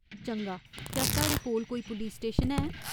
चंगा, क्या साढ़े कोल कोई पुलस स्टेशन है ?